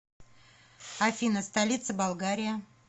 афина столица болгария